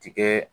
Tigɛ